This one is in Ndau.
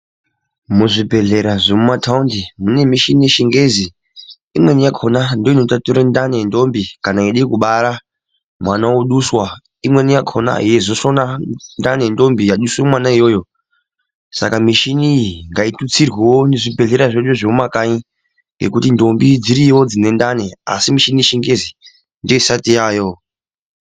Muzvibhedhlera zvemuma thaundi mune mushini yechingezi. Imweni yakhona ndoinotatura ndani yendombi kana eide kubara ,mwana aduswa. imweni yakhona yeizosona ndani yendombi yaduswa mwana iyoyo. saka mushini iyi ngaitutsirwoo muzvibhedhleya zvedu zvemumakanyi, ngekuti ndombi dziriyoo dzine ndani asi mushini yechingezi ndiyo isati yaayoo.